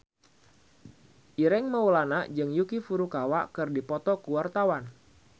Ireng Maulana jeung Yuki Furukawa keur dipoto ku wartawan